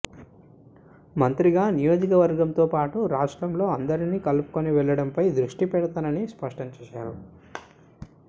మంత్రిగా నియోజకవర్గంతో పాటు రాష్ట్రంలో అందరినీ కలుపుకుని వెళ్లడంపై దృష్టిపెడతానని స్పష్టం చేశారు